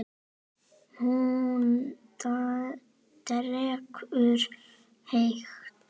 Hún drekkur hægt.